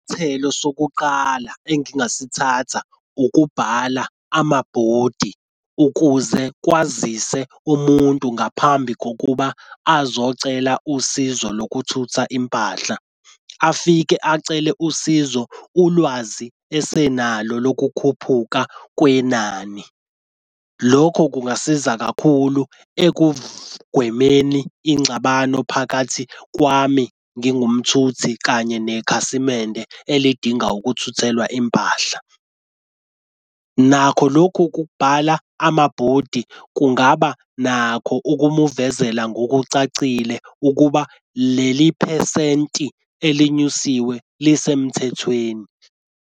Thelo sokuqala engingasithatha ukubhala amabhodi ukuze kwazise umuntu ngaphambi kokuba azokucela usizo lokuthutha impahla. Afike acele usizo ulwazi esenalo lokukhuphuka kwenani. Lokho kungasiza kakhulu ekugwemeni ingxabano phakathi kwami ngingumthuthi kanye nekhasimende elidinga ukuthuthelwa impahla. Nakho lokhu kubhala amabhodi kungaba nakho ukumuvezela ngokucacile ukuba leli phesenti elinyusiwe lisemthethweni.